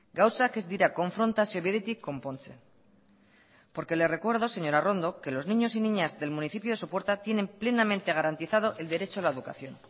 gauzak ez dira konfrontazio bidetik konpontzen porque le recuerdo señora arrondo que los niños y niñas del municipio de sopuerta tienen plenamente garantizado el derecho a la educación